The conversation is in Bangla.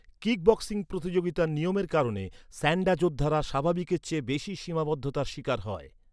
কিক বক্সিং প্রতিযোগিতার নিয়মের কারণে, স্যান্ডা যোদ্ধারা স্বাভাবিকের চেয়ে বেশি সীমাবদ্ধতার শিকার হয়।